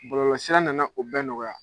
Bɔlɔlɔsira nana o bɛɛ nɔgɔya.